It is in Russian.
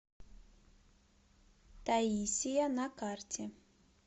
таисия на карте